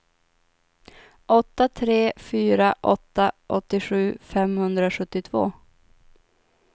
åtta tre fyra åtta åttiosju femhundrasjuttiotvå